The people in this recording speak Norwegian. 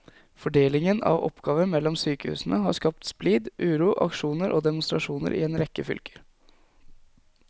Fordelingen av oppgaver mellom sykehusene har skapt splid, uro, aksjoner og demonstrasjoner i en rekke fylker.